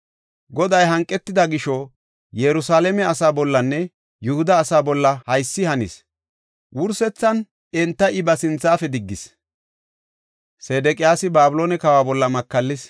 Goday hanqetida gisho, Yerusalaame asa bollanne Yihuda asaa bolla haysi hanis; wursethan enta I ba sinthafe diggis. Sedeqiyaasi Babiloone kawa bolla makallis.